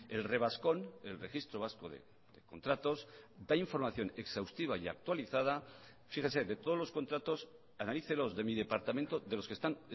el revascon el registro vasco de contratos da información exhaustiva y actualizada fíjese de todos los contratos analícelos de mi departamento de los que están